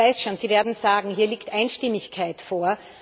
Ich weiß schon, Sie werden sagen Hier liegt Einstimmigkeit vor.